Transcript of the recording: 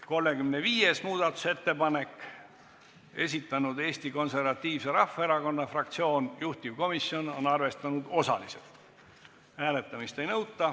35. muudatusettepaneku on esitanud Eesti Konservatiivse Rahvaerakonna fraktsioon ja juhtivkomisjon on arvestanud seda osaliselt, hääletamist ei nõuta.